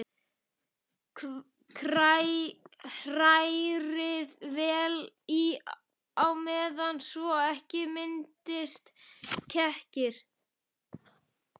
Hrærið vel í á meðan svo ekki myndist kekkir.